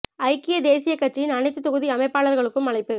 ஐக்கிய தேசிய கட்சியின் அனைத்து தொகுதி அமைப்பாளர்களுக்கும் அழைப்பு